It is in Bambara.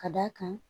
Ka d'a kan